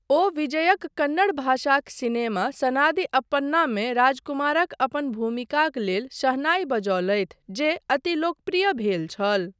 ओ विजयक कन्नड़ भाषाक सिनेमा सनादि अप्पन्नामे राजकुमारक अपन भूमिकाक लेल शहनाई बजौलथि जे अति लोकप्रिय भेल छल।